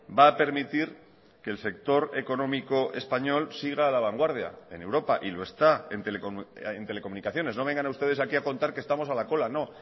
va a permitir que el sector económico español siga a la vanguardia en europa y lo está en telecomunicaciones no vengan ustedes aquí a contar que estamos a la cola no